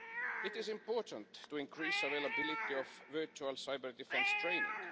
It is important to increase the availability of virtual cyber-defence training.